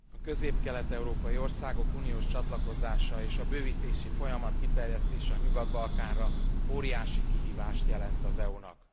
A közép kelet európai országok uniós csatlakozása és a bővítési folyamat kiterjesztése a Nyugat Balkánra óriási kihívást jelent az EU nak.